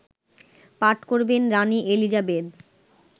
পাঠ করবেন রানি এলিজাবেথ